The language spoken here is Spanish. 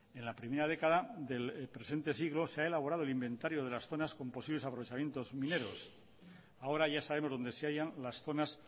en la primera década del presente siglo se ha elaborado el inventario de las zonas con posibles aprovechamientos mineros ahora ya sabemos donde se hayan las zonas